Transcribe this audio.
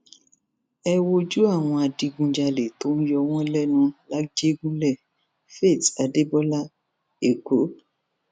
ẹ wojú àwọn adigunjalè tó ń yọ wọn lẹnu làjẹgùnlé faith adébọlá èkó